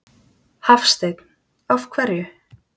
Hafsteinn: Af hverju?